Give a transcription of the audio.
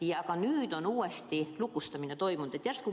Ja ka nüüd on uuesti lukustamine toimunud.